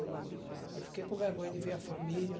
Aí aí fiquei com vergonha de ver a família.